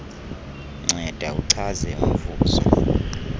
nceda uchaze umvuzo